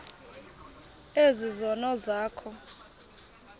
ezi zono zakho